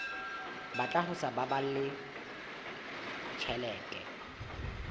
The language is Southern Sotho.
batla ho sa baballe tjhelete